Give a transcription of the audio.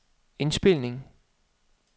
indspilning